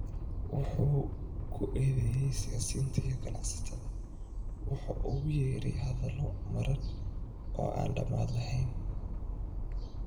Wuxuu ku eedeeyay siyaasiyiinta iyo ganacsatada wax uu ugu yeeray hadallo madhan oo aan dhammaad lahayn.